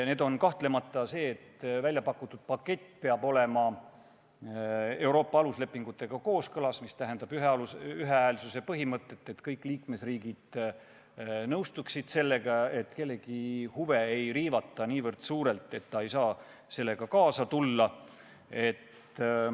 Üks on kahtlemata see, et väljapakutud pakett peab olema Euroopa Liidu aluslepingutega kooskõlas, mis tähendab ühehäälsuse põhimõtet – kõik liikmesriigid peaksid sellega nõustuma ning kellegi huve ei tohiks riivata niivõrd suurelt, et ta ei saaks sellega kaasa tulla.